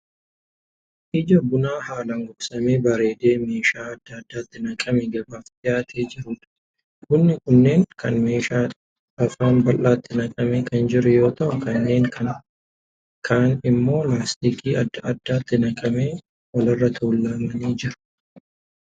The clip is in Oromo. Ija bunaa haalaan gogsamee bareedee meeshaa adda addaatti naqamee gabaaf dhiyaatee jiruudha. Bunni kunneen kaan meeshaa afaan bal'aatti naqamee kan jiru yoo ta'u, kanneen kaan immoo laastikii adda addaatti naqamanii wal irra tuulamanii jiru.